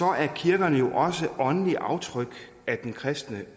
er kirkerne også åndelige aftryk af den kristne